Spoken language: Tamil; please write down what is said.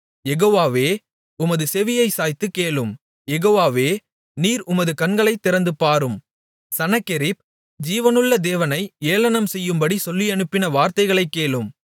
யெகோவாவே உமது செவியைச் சாய்த்துக் கேளும் யெகோவாவே நீர் உமது கண்களைத் திறந்துபாரும் சனகெரிப் ஜீவனுள்ள தேவனை ஏளனம் செய்யும்படி சொல்லியனுப்பின வார்த்தைகளைக் கேளும்